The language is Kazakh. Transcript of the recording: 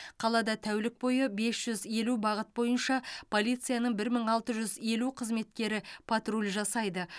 қалада тәулік бойы бес жүз елу бағыт бойынша полицияның бір мың алты жүз елу қызметкері патруль жасайды